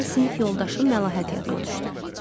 niyəsə sinif yoldaşım Məlahət yadıma düşdü.